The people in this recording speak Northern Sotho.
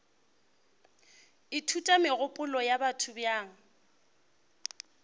ithuta megopolo ya batho bjang